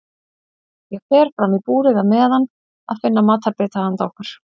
Ég fer fram í búrið á meðan að finna matarbita handa okkur.